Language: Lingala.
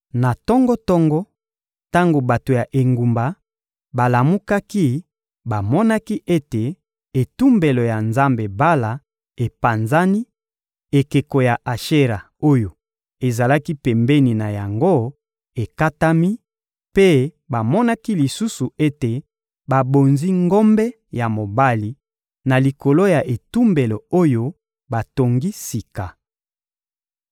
Na tongo-tongo, tango bato ya engumba balamukaki, bamonaki ete etumbelo ya nzambe Bala epanzani, ekeko ya Ashera oyo ezalaki pembeni na yango ekatami; mpe bamonaki lisusu ete babonzi ngombe ya mobali na likolo ya etumbelo oyo batongi sika.